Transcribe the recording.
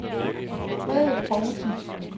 Frede Povlsen